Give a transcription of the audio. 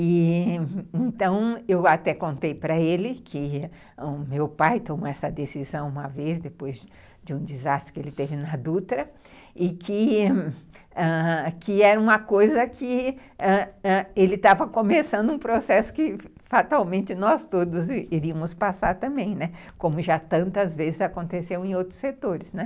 E, então, eu até contei para ele que o meu pai tomou essa decisão uma vez, depois de um desastre que ele teve na Dutra, e que ãh... e que era uma coisa que ele estava começando um processo que fatalmente nós todos iríamos passar também, né, como já tantas vezes aconteceu em outros setores.